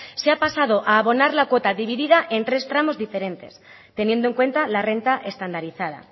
se ha pasado a abonar la cuota divida en tres tramos diferentes teniendo en cuenta la renta estandarizada